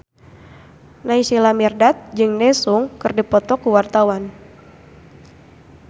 Naysila Mirdad jeung Daesung keur dipoto ku wartawan